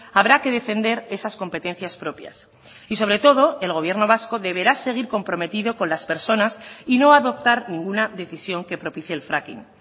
habrá que defender esas competencias propias y sobre todo el gobierno vasco deberá seguir comprometido con las personas y no adoptar ninguna decisión que propicie el fracking